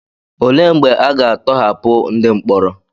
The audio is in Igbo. Olee mgbe a ga-atọhapụ ndị mkpọrọ?